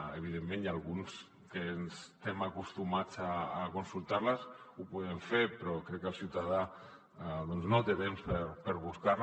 evidentment hi ha alguns que estem acostumats a consultar les ho podem fer però crec que el ciutadà doncs no té temps de buscar les